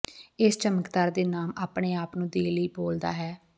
ਇਸ ਚਮਤਕਾਰ ਦੇ ਨਾਮ ਆਪਣੇ ਆਪ ਨੂੰ ਦੇ ਲਈ ਬੋਲਦਾ ਹੈ